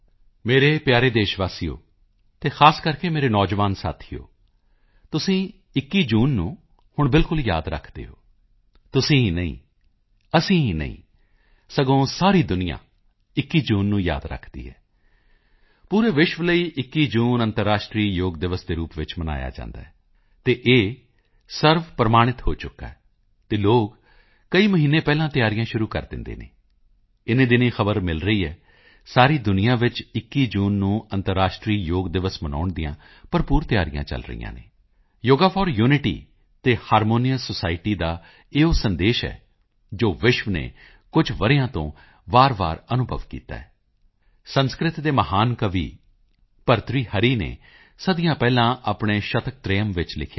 ਮੇਰੇ ਪਿਆਰੇ ਦੇਸ਼ ਵਾਸੀਓ ਅਤੇ ਖ਼ਾਸ ਕਰ ਮੇਰੇ ਨੌਜਵਾਨ ਸਾਥੀਓ ਤੁਸੀਂ 21 ਜੂਨ ਨੂੰ ਹੁਣ ਬਿਲਕੁਲ ਯਾਦ ਰੱਖਦੇ ਹੋ ਤੁਸੀਂ ਹੀ ਨਹੀਂ ਅਸੀਂ ਹੀ ਨਹੀਂ ਸਗੋਂ ਸਾਰੀ ਦੁਨੀਆਂ 21 ਜੂਨ ਨੂੰ ਯਾਦ ਰੱਖਦੀ ਹੈ ਪੂਰੇ ਵਿਸ਼ਵ ਲਈ 21 ਜੂਨ ਅੰਤਰਰਾਸ਼ਟਰੀ ਯੋਗ ਦਿਵਸ ਦੇ ਰੂਪ ਵਿੱਚ ਮਨਾਇਆ ਜਾਂਦਾ ਹੈ ਅਤੇ ਇਹ ਸਰਵਪ੍ਰਵਾਨਿਤ ਹੋ ਚੁੱਕਾ ਹੈ ਅਤੇ ਲੋਕ ਕਈ ਮਹੀਨੇ ਪਹਿਲਾਂ ਤਿਆਰੀਆਂ ਸ਼ੁਰੂ ਕਰ ਦਿੰਦੇ ਹਨ ਇਨੀਂ ਦਿਨੀਂ ਖ਼ਬਰ ਮਿਲ ਰਹੀ ਹੈ ਸਾਰੀ ਦੁਨੀਆਂ ਵਿੱਚ 21 ਜੂਨ ਨੂੰ ਅੰਤਰਰਾਸ਼ਟਰੀ ਯੋਗ ਦਿਵਸ ਮਨਾਉਣ ਦੀਆਂ ਭਰਪੂਰ ਤਿਆਰੀਆਂ ਚੱਲ ਰਹੀਆਂ ਹਨ ਯੋਗਾ ਫੋਰ ਯੂਨਿਟੀ ਅਤੇ ਹਾਰਮੋਨੀਅਸ ਸੋਸਾਇਟੀ ਦਾ ਇਹ ਉਹ ਸੰਦੇਸ਼ ਹੈ ਜੋ ਵਿਸ਼ਵ ਨੇ ਪਿਛਲੇ ਕੁਝ ਵਰ੍ਹਿਆਂ ਤੋਂ ਵਾਰਵਾਰ ਅਨੁਭਵ ਕੀਤਾ ਹੈ ਸੰਸਕ੍ਰਿਤ ਦੇ ਮਹਾਨ ਕਵੀ ਭਰਤਰੀ ਹਰੀ ਨੇ ਸਦੀਆਂ ਪਹਿਲਾਂ ਆਪਣੇ ਸ਼ਤਕਤ੍ਰਯਮ ਵਿੱਚ ਲਿਖਿਆ ਸੀ